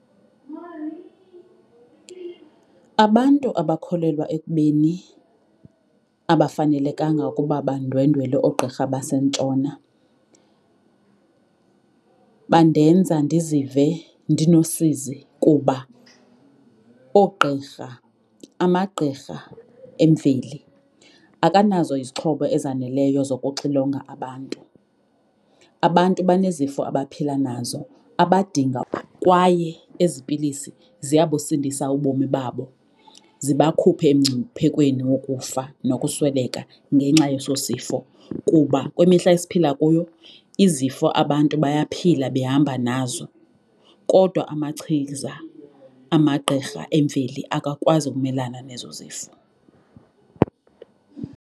Abantu abakholelwa ekubeni abafanelekanga ukuba bandwendwele oogqirha baseNtshona bandenza ndizive ndinosizi kuba oogqirha amagqirha emveli akanazo izixhobo ezaneleyo zokuxilonga abantu. Abantu banezifo abaphila nazo abadinga kwaye ezi pilisi ziyabusindisa ubomi babo ziba khuphe emngciphekweni wokufa nokusweleka ngenxa yeso sifo. Kuba kwimihla esiphila kuyo izifo abantu bayaphila behamba nazo kodwa amachiza amagqirha emveli akakwazi ukumelana nezo zifo.